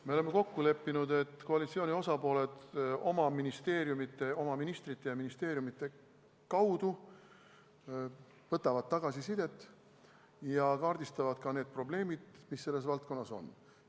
Me oleme kokku leppinud, et koalitsiooni osapooled oma ministeeriumide ja ministrite kaudu võtavad tagasisidet ja kaardistavad need probleemid, mis selles valdkonnas on.